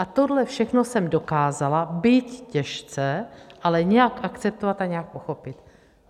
A tohle všechno jsem dokázala, byť těžce, ale nějak akceptovat a nějak pochopit.